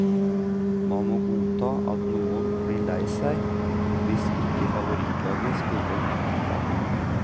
Man må godta at noen blir lei seg hvis ikke favorittlaget spiller god fotball.